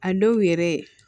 A dɔw yɛrɛ